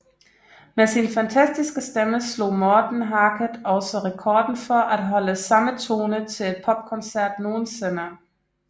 Med sin fantastiske stemme slog Morten Harket også rekorden for at holde samme tone til en popkoncert nogensinde